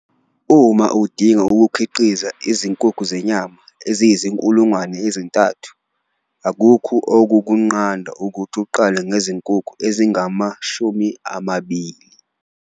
Uma udinga ukukhiqiza izinkukhu zenyama eziyizi-3 000, akukho okukunqanda ukuthi uqale ngezinkukhu ezingama-20.